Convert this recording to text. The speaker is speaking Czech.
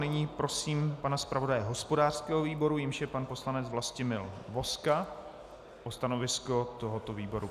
Nyní prosím pana zpravodaje hospodářského výboru, jímž je pan poslanec Vlastimil Vozka, o stanovisko tohoto výboru.